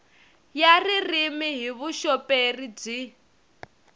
ya ririmi hi vuxoperi byi